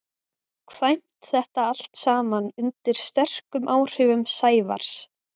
kvæmt þetta allt saman undir sterkum áhrifum Sævars.